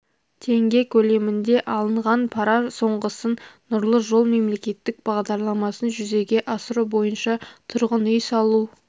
теңге көлемінде алынған пара соңғысын нұрлы жол мемлекеттік бағдарламасын жүзеге асыру бойынша тұрғын үй салу